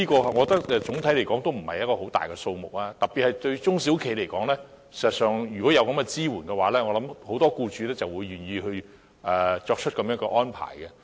我認為整體而言，這也不算是一個大數目，特別是對中小企而言，如果有這些支援，我相信很多僱主也會願意作出這種安排。